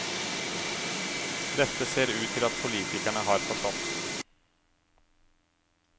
Dette ser det ut til at politikerne har forstått.